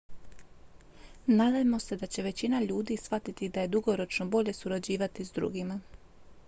nadajmo se da će većina ljudi shvatiti da je dugoročno bolje surađivati s drugima